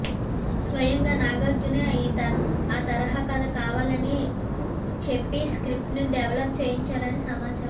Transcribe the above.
స్వయంగా నాగార్జునే ఆ తరహా కథ కావాలని చెప్పి స్క్రిప్ట్ ను డెవలప్ చేయించారని సమాచారం